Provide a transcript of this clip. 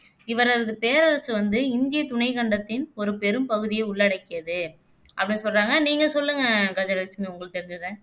இவரது பேரரசு வந்து இந்தியத் துணைக்கண்டத்தின் ஒரு பெரும் பகுதியை உள்ளடக்கியது அப்படின்னு சொல்றாங்க நீங்க சொல்லுங்க கஜலட்சுமி உங்களுக்கு தெரிஞ்சதை